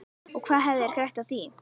Og hvað hefðu þeir grætt á því?